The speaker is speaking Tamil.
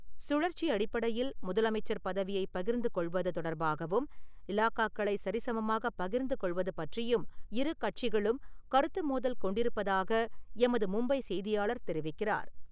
சுழற்சி அடிப்படையில் முதலமைச்சர் பதவியைப் பகிர்ந்துகொள்வது தொடர்பாகவும், இலாக்காக்களை சரிசமமாகப் பகிர்ந்துகொள்வது பற்றியும் இரு கட்சிகளும் கருத்து மோதல் கொண்டிருப்பதாக எமது மும்பை செய்தியாளர் தெரிவிக்கிறார்.